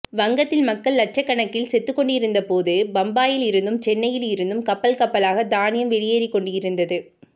வங்கத்தில் மக்கள் லட்சகணக்கில் செத்துக்கொண்டிருந்தபோது பம்பாயிலிருந்தும் சென்னையில் இருந்தும் கப்பல்கப்பலாக தானியம் வெளியேறிக்கொண்டிருந்தது